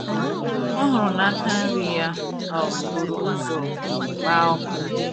ọ hụrụ na aka nri ya um buru ụzọ gbaa ọkụ